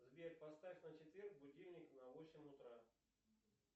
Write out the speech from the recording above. сбер поставь на четверг будильник на восемь утра